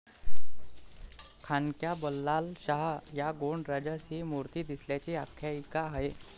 खांद्क्या बल्लालशाह या गोंड राजास ही मूर्ती दिसल्याची आख्यायिका आहे.